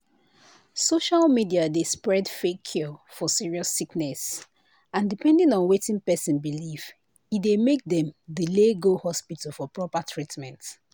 social media dey spread fake cure for serious sickness and depending on wetin person believe e dey make dem delay go hospital for proper treatment."